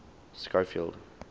schofield